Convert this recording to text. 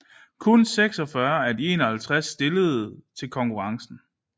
Kun 46 af de 51 stillede til konkurrencen